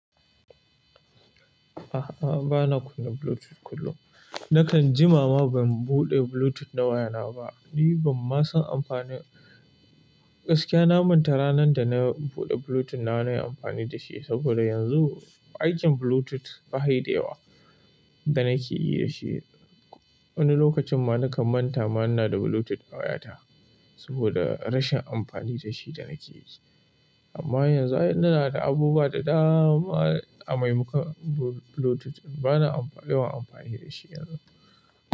A'a, bana kunna Bluetooth kullum. Nakan jimama ban buɗe Bluetooth na wayana ba. Ni ban ma san amfanin gaskiya na manta ranar da na buɗe Bluetooth na wa na yi amfani da shi saboda yanzu aikin Bluetooth bayi da yawa danake yi dashi wani lokacin ma nakan manta ma ina da Bluetooth a waya ta saboda rashin amfani da shi da nake yi. Amma yanzu ay ina da abubuwa da dama a maimakon Bluetooth. Bana yawan amfani dashi yanzu.